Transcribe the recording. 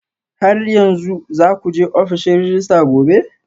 Har yanzu za ku je ofishin rejista gobe?